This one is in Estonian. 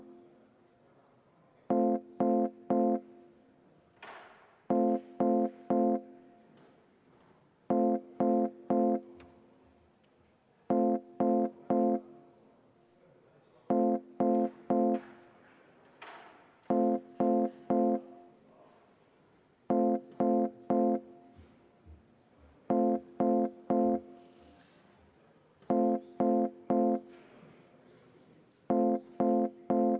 Panen hääletusele juhtivkomisjoni ettepaneku eelnõu 283 esimesel lugemisel tagasi lükata.